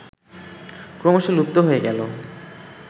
ক্রমশঃ লুপ্ত হয়ে গেল